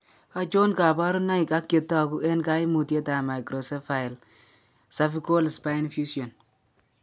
Achon kaborunoik ak chetogu eng' kaimutyet ab Microcephaly cervical spine fusion